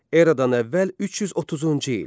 Eradan əvvəl 330-cu il.